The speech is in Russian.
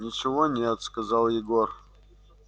ничего нет сказал егор